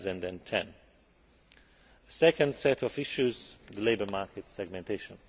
2010. A second set of issues is labour market segmentation.